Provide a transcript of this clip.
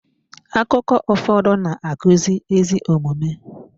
Akụkọ ụfọdụ na-akụzi ezi omume.